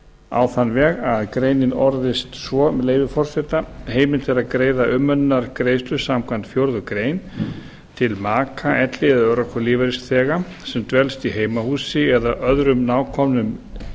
á þann veg að greinin orðist svo með leyfi forseta heimilt er að greiða umönnunargreiðslur samkvæmt fjórðu grein til maka elli eða örorkulífeyrisþega sem dvelst í heimahúsi eða öðrum nákomnum